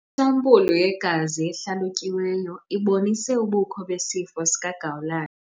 Isampulu yegazi ehlalutyiweyo ibonise ubukho besifo sikagawulayo.